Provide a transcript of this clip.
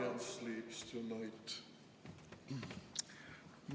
Lions sleeps tonight ...